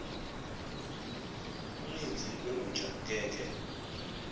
uninzi lolutsha ngeke